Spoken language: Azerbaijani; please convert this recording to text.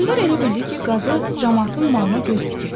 Hökmdar elə bildi ki, qazı camaatın malına göz tikib.